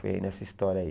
Foi aí nessa história aí.